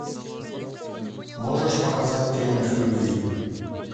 можешь показать триумф любви